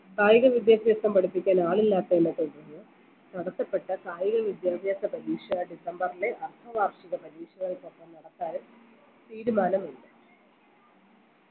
കായിക വിദ്യാഭ്യാസം പഠിപ്പിക്കാൻ ആളില്ലാത്തയിൻറെ നടത്തപ്പെട്ട കായിക വിദ്യാഭ്യാസ പരീക്ഷ ഡിസംബർലെ അർദ്ധ വാർഷിക പരീക്ഷകൾക്കൊപ്പം നടത്താനും തീരുമാനമില്ല